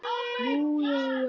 Nú, jæja.